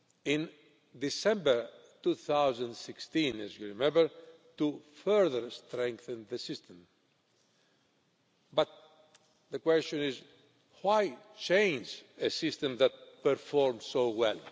in December 2016, as you will remember to further strengthen the system. But the question is why change a system that performed so well?